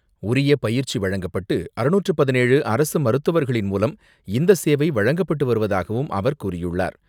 உரிய பயிற்சி வழங்கப்பட்டு அறுநூற்று பதினேழு அரசு மருத்துவர்களின் மூலம் இந்த சேவை வழங்கப்பட்டு வருவதாகவும் அவர் கூறியுள்ளார